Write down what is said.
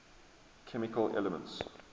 chemical elements